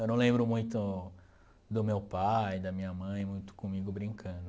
Eu não lembro muito do meu pai, da minha mãe, muito comigo brincando.